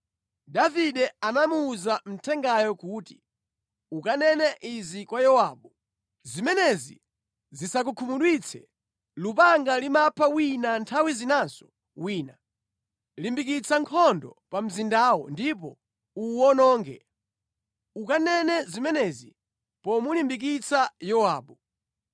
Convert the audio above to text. Davide anamuwuza mthengayo kuti, “Ukanene izi kwa Yowabu: ‘Zimenezi zisakukhumudwitse; lupanga limapha wina nthawi zinanso wina. Limbikitsa nkhondo pa mzindawo ndipo uwuwononge!’ Ukanene zimenezi pomulimbikitsa Yowabu.”